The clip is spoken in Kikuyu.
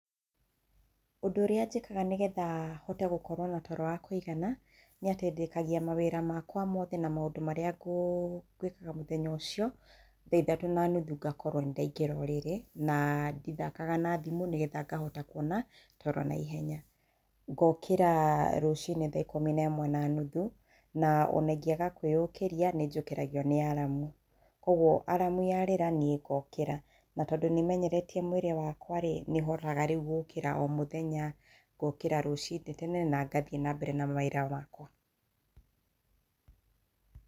Ũndũ ũrĩa njĩkaga nĩgetha hote gũkorwo na toro wa kũigana, nĩ atĩ ndĩkagia mawĩra makwa mothe na maũndũ marĩa ngwĩkaga mũthenya ũcio, tha ithatũ na nuthu ngakorwo nĩ ndaingĩra ũrĩrĩ, na ndithakaga na thimũ nĩgetha ngahota kũona toro naihenya. Ngookĩra rũcinĩ tha ikũmi na ĩmwe na nuthu, na ona ingĩaga kwĩũkĩria, nĩ njũkagĩrio nĩ aramu. Kũoguo aramu yarĩra, niĩ ngookĩra. Na tondũ nĩmenyeretie mwĩrĩ wakwa rĩ, nĩhotaga rĩu gũũkĩra o mũthenya, gũũkĩra rũciinĩ tene, na ngathiĩ na mbere na mawĩra makwa.